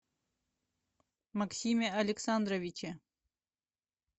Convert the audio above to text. максиме александровиче